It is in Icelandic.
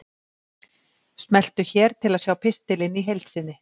Smelltu hér til að sjá pistilinn í heild sinni